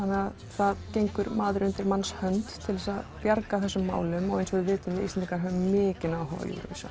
það gengur maður undir manns hönd til að bjarga þessum málum eins og við vitum við Íslendingar mikinn áhuga